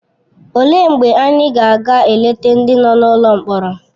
Olee mgbe anyị ga-aga eleta ndị nọ n’ụlọ mkpọrọ?